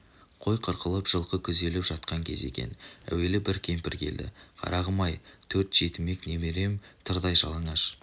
қой қырқылып жылқы күзеліп жатқан кез екен әуелі бір кемпір келді қарағым-ай төрт жетімек немерем тырдай жалаңаш